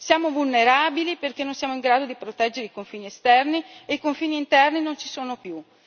Siamo vulnerabili perché non siamo in grado di proteggere i confini esterni e i confini interni non ci sono più.